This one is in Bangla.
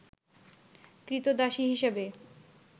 ক্রীতদাসী হিসেবে